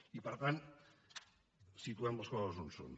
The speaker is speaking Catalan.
i per tant situem les coses on són